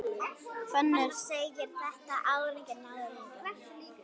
Fannar segir þetta alranga nálgun.